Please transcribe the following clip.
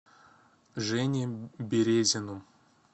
жене березину